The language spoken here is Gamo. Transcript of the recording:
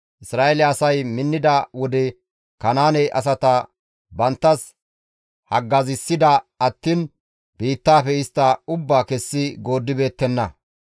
Isra7eele asay minnida wode Kanaane asata banttas haggazissida attiin biittaafe istta ubbaa kessi gooddibeettenna.